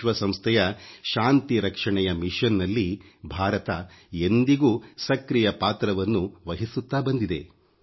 ವಿಶ್ವಸಂಸ್ಥೆಯ ಶಾಂತಿ ರಕ್ಷಣೆಯ ಮಿಶನ್ ನಲ್ಲಿ ಭಾರತ ಎಂದಿಗೂ ಸಕ್ರಿಯ ಪಾತ್ರವನ್ನು ವಹಿಸುತ್ತಾ ಬಂದಿದೆ